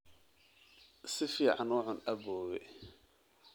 Si fiican u cun aboowe